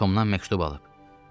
Xloya Tomdan məktub alıb.